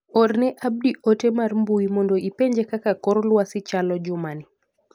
Orne Abdi ote mar mbui mondo ipenje kaka kor lwasi chalo juma ni.